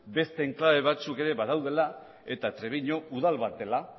beste enklabe batzuk ere badaudela eta trebiñu udal bat dela